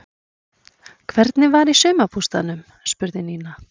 Hvernig var í sumarbústaðnum? spurði Nína.